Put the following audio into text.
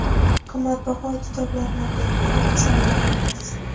Qimmatbaho kitoblarni o‘qing, xom asarlarni emas.